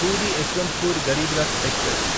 puri Yesvantpur Garib Rath express